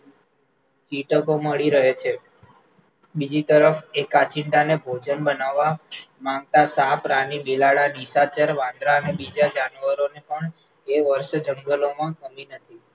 કીટકો મળી રહે છે, બીજી તરફ એ કાંચિડાને ભોજન બનાવવા માંગતા સાપ, રાની, બિલાડા, નિશાચર વાંદરા અને બીજા જાનવરોને પણ એ વર્ષ જંગલોમાં